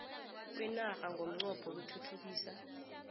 kwenarha ngomnqopho wokuthuthukisa